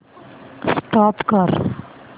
stop करा